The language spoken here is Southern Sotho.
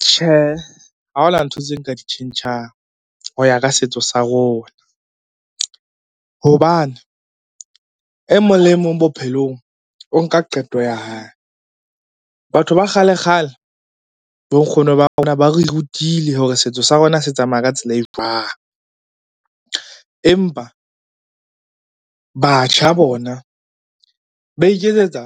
Tjhehe, ha ho na ntho tseo nka di tjhentjhang ho ya ka setso sa rona hobane emong le emong bophelong o nka qeto ya hae. Batho ba kgale-kgale, bo nkgono ba rona ba re rutile hore setso sa rona se tsamaya ka tsela e jwang? Empa batjha bona ba iketsetsa